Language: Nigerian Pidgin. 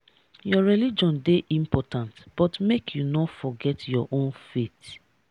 your religion dey important but make you no forget your own faith